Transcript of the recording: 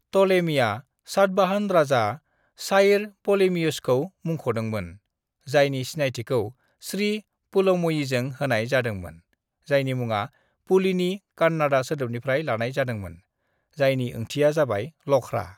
"टलेमीआ सातबाहन राजा साइर पोलेमियोसखौ मुंख'दोंमोन, जायनि सिनायथिखौ श्री पुलुमयीजों होनाय जादोंमोन, जायनि मुङा पुलीनि कान्नाडा सोदोबनिफ्राय लानाय जादोंमोन, जायनि ओंथिआ जाबाय लख्रा।"